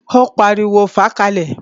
Ó pariwo, "fàá ka lẹ̀!"